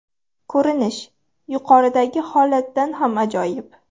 Ko‘rinish yuqoridagi holatdan ham ajoyib.